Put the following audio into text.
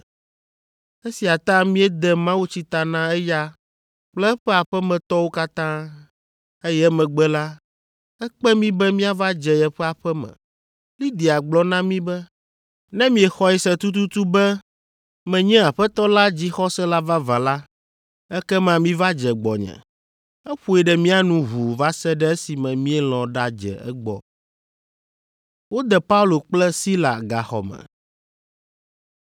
Esia ta míede mawutsi ta na eya kple eƒe aƒemetɔwo katã, eye emegbe la, ekpe mí be míava dze yeƒe aƒe me. Lidia gblɔ na mí be, “Ne miexɔe se tututu be menye Aƒetɔ la dzixɔsela vavã la, ekema miva dze gbɔnye.” Eƒoe ɖe mía nu ʋuu va se ɖe esime míelɔ̃ ɖadze egbɔ.